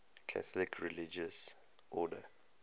catholic religious order